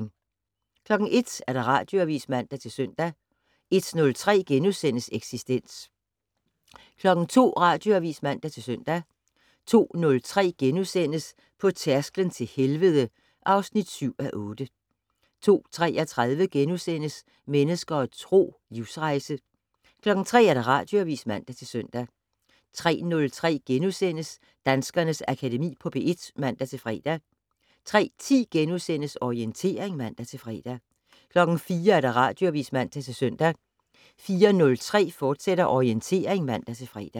01:00: Radioavis (man-søn) 01:03: Eksistens * 02:00: Radioavis (man-søn) 02:03: På tærsklen til helvede (7:8)* 02:33: Mennesker og Tro: Livsrejse * 03:00: Radioavis (man-søn) 03:03: Danskernes Akademi på P1 *(man-fre) 03:10: Orientering *(man-fre) 04:00: Radioavis (man-søn) 04:03: Orientering, fortsat (man-fre)